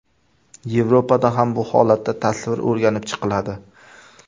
Yevropada ham bu holatda tasvir o‘rganib chiqiladi.